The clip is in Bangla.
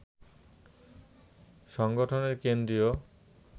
সংগঠনের কেন্দ্রীয়